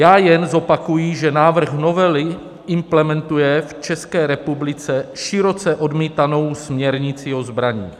Já jen zopakuji, že návrh novely implementuje v České republice široce odmítanou směrnici o zbraních.